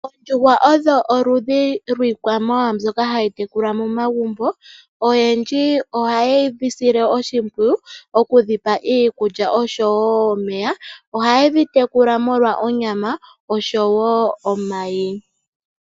Oondjuhwa odho oludhi lwiikwamawa mbyoka hayi tekulwa momagumbo. Oyendji ohaye dhi sile oshimpwiyu okudhi pa iikulya noshowo omeya. Ohaye dhi tekula molwa onyama oshowo omayi.